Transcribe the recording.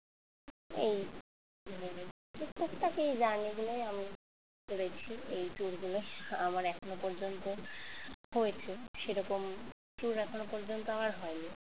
এই মানে এই টুকটাক এই journey গুলোই আমি করেছি এই tour গুলো আমার এখনো পর্যন্ত হয়েছে সেরকম tour এখনো পর্যন্ত আমার হয়নি